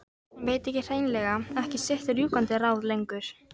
Hann veit hrein- lega ekki sitt rjúkandi ráð lengur.